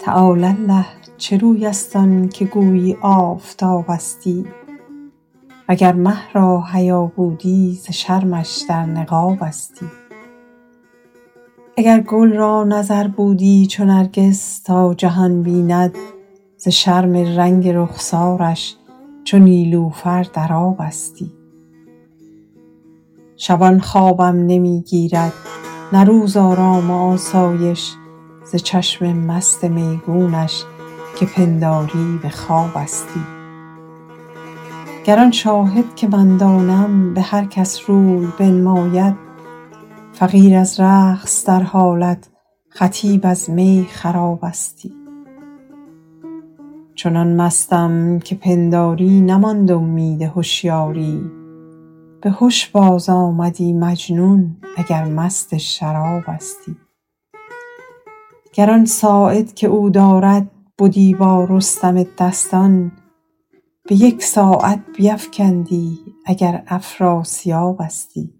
تعالی الله چه روی است آن که گویی آفتابستی و گر مه را حیا بودی ز شرمش در نقابستی اگر گل را نظر بودی چو نرگس تا جهان بیند ز شرم رنگ رخسارش چو نیلوفر در آبستی شبان خوابم نمی گیرد نه روز آرام و آسایش ز چشم مست میگونش که پنداری به خوابستی گر آن شاهد که من دانم به هر کس روی بنماید فقیر از رقص در حالت خطیب از می خرابستی چنان مستم که پنداری نماند امید هشیاری به هش بازآمدی مجنون اگر مست شرابستی گر آن ساعد که او دارد بدی با رستم دستان به یک ساعت بیفکندی اگر افراسیابستی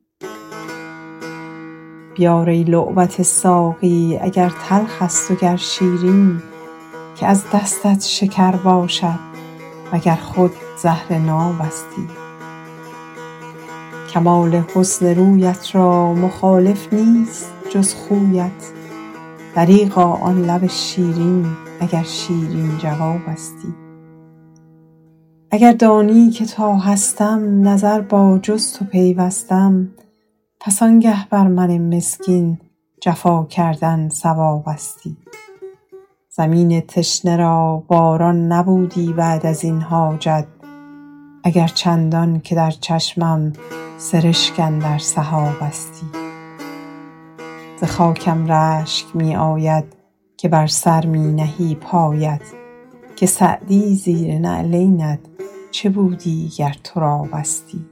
بیار ای لعبت ساقی اگر تلخ است و گر شیرین که از دستت شکر باشد و گر خود زهر نابستی کمال حسن رویت را مخالف نیست جز خویت دریغا آن لب شیرین اگر شیرین جوابستی اگر دانی که تا هستم نظر با جز تو پیوستم پس آنگه بر من مسکین جفا کردن صوابستی زمین تشنه را باران نبودی بعد از این حاجت اگر چندان که در چشمم سرشک اندر سحابستی ز خاکم رشک می آید که بر سر می نهی پایش که سعدی زیر نعلینت چه بودی گر ترابستی